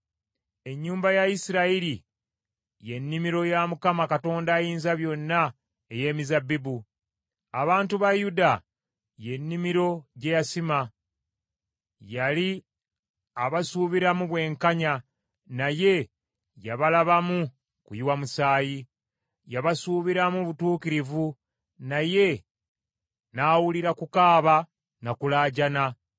Ennyumba ya Isirayiri y’ennimiro ya Mukama Katonda Ayinzabyonna ey’emizabbibu. Abantu ba Yuda y’ennimiro gye yasiima. Yali abasuubiramu bwenkanya naye yabalabamu kuyiwa musaayi. Yabasuubiramu butuukirivu naye nawulira kukaaba na kulaajana.